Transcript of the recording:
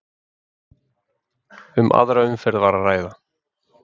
Um aðra umferð var að ræða